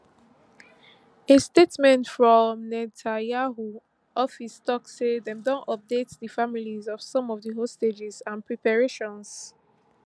a statement from netanyahu office tok say dem don update di families of some of di hostages and preparations